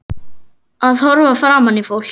Að horfa framan í fólk.